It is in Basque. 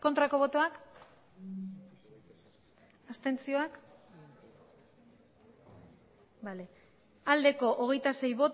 aurkako botoak abstentzioa hogeita sei